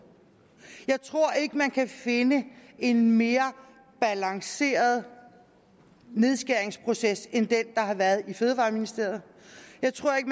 jeg tror ikke man kan finde en mere balanceret nedskæringsproces end den der har været i fødevareministeriet jeg tror ikke